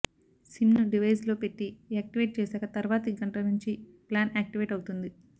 SIM ను device లో పెట్టి యాక్టివేట్ చేశాక తర్వాతి గంట నుంచి ప్లాన్ యాక్టివేట్ అవుతుంది